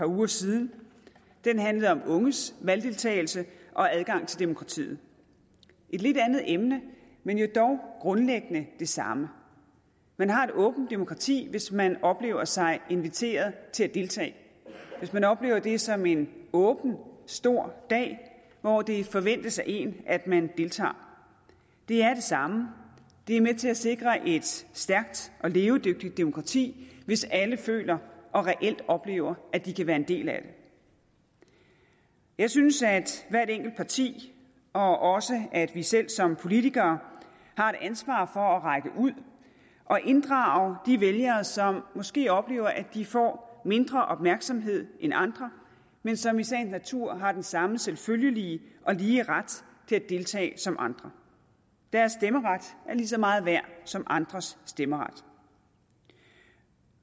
uger siden den handlede om unges valgdeltagelse og adgang til demokratiet et lidt andet emne men jo dog grundlæggende det samme man har et åbent demokrati hvis man oplever sig inviteret til at deltage hvis man oplever det som en åben stor dag hvor det forventes af en at man deltager det er det samme det er med til at sikre et stærkt og levedygtigt demokrati hvis alle føler og reelt oplever at de kan være en del af det jeg synes at hvert enkelt parti og også at vi selv som politikere har et ansvar for at række ud og inddrage de vælgere som måske oplever at de får mindre opmærksomhed end andre men som i sagens natur har den samme selvfølgelige og lige ret til at deltage som andre deres stemmeret er lige så meget værd som andres stemmeret